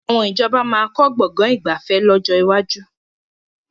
Àwọn ìjọba máa kọ́ Gbọ̀ngán ìgbafẹ́ lọ́jọ́ iwájú